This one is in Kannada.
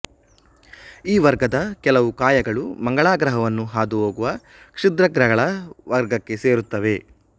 ಈ ವರ್ಗದ ಕೆಲವು ಕಾಯಗಳು ಮಂಗಳ ಗ್ರಹವನ್ನು ಹಾದುಹೋಗುವ ಕ್ಷುದ್ರಗ್ರಗಳ ವರ್ಗಕ್ಕೆ ಸೇರುತ್ತವೆ